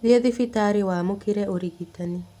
Thiĩthibitarĩwamũkĩre ũrigitani.